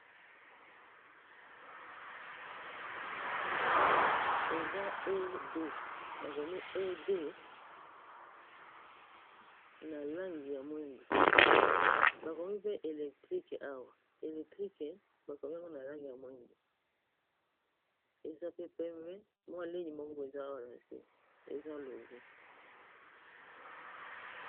Eza ed bakomi ed na langi ya mwindu bakomi pe electrique awa electrique bakomi ango na langi ya mwindu eza pe pembe mwa ligne moko boye eza awa na se eza logo.